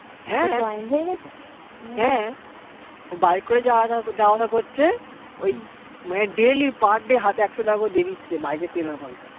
হ্যা ও bike করে যাওয়া আসা করছে মানে daily per day হাতে একশো টাকা করে দিয়ে দিচ্ছে bike এ তেল ভরা